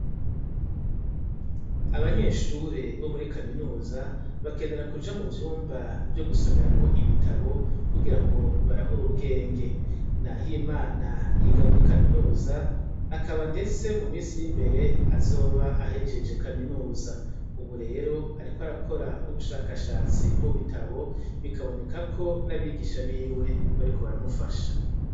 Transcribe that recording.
Abanyeshure bo muri kaminuza bakenera kuja mu vyumba vyo gusomeramwo ibitabo kugira ngo barahura ubwenge, naho imana yiga muri kaminuza akaba, ndetse mu misiri imbere azoba ahejeje kaminuza, ubu rero, ariko arakora ubushakashane tsi mubitabo bikabonekako n'abigisha biwe bariko baramufasha.